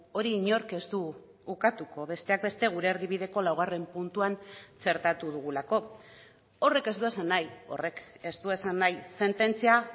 hori inork ez du ukatuko besteak beste gure erdibideko laugarren puntuan txertatu dugulako horrek ez du esan nahi horrek ez du esan nahi sententzia